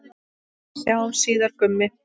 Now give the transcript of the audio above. Við sjáumst síðar, Gummi.